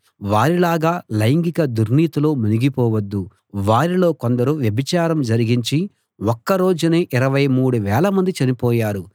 వారిలాగా లైంగిక దుర్నీతిలో మునిగిపోవద్దు వారిలో కొందరు వ్యభిచారం జరిగించి ఒక్క రోజునే ఇరవై మూడు వేలమంది చనిపోయారు